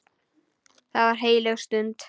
Það var heilög stund.